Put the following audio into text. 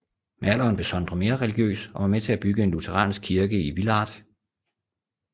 Med alderen blev Sondre mere religiøs og var med til at bygge en lutheransk kirke i Villard